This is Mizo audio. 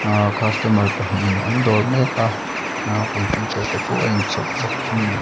ah customer pahnih in an dawr mek a ah computer te pawh a in chhawp bawk ani.